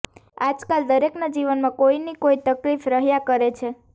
આજકાલ દરેકના જીવનમાં કોઈને કોઈ તકલીફ રહ્યાં કરે છે